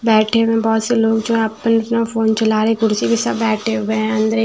बैठे हुए हैं बहुत से लोग जो आपन अपना फोन चला रहे हैं कुर्सी में सब बैठे हुए हैं अंदर एक।